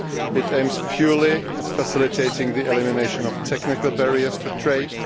It aims purely at facilitating the elimination of technical barriers to trade